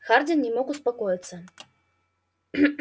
хардин не мог успокоиться